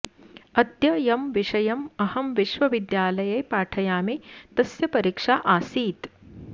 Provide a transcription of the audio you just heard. अद्य यं विषयम् अहं विश्वविद्यालये पाठयामि तस्य परीक्षा आसीत्